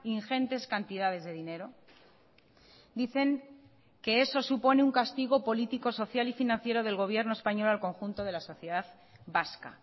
ingentes cantidades de dinero dicen que eso supone un castigo político social y financiero del gobierno español al conjunto de la sociedad vasca